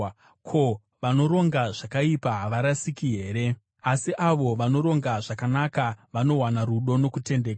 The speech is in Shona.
Ko, vanoronga zvakaipa havarasiki here? Asi avo vanoronga zvakanaka vanowana rudo nokutendeka.